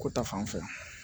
Ko ta fan fɛ